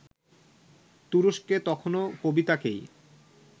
তুরস্কে তখনো কবিতাকেই